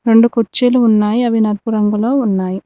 రెండు కుర్చీలు ఉన్నాయి అవి నలుపు రంగులో ఉన్నాయి.